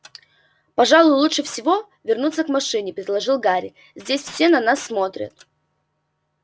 пожалуй лучше всего вернуться к машине предложил гарри здесь все на нас смотрят